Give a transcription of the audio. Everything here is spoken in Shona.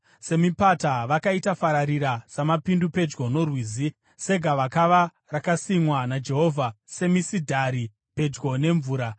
“Semipata, vakaita fararira, samapindu pedyo norwizi, segavakava rakasimwa naJehovha, s semisidhari pedyo nemvura.